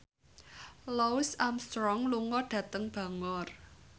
Louis Armstrong lunga dhateng Bangor